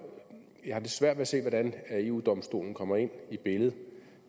jeg har lidt svært ved at se hvordan eu domstolen kommer ind i billedet